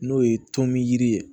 N'o ye tɔn min yiri ye